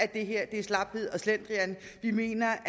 det her er slaphed og slendrian vi mener